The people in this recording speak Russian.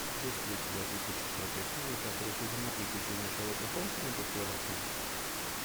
есть ли у тебя тридцать четвертая серия пятого сезона приключения шерлока холмса и доктора ватсона